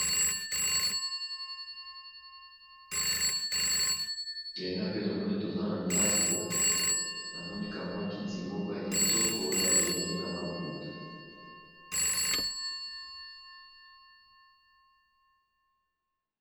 Awa pe na moni toza na ndako . Na moni ka mwa kiti moko ya kitoko oyo ba tongi na maputa .